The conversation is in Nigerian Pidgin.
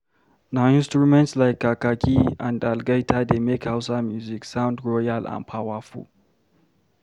Na instruments like kakaki and algaita dey make Hausa music sound royal and powerful.